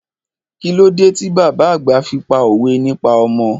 Kílódé ti bàbá àgbà fi pá òwe nípa ọmọ?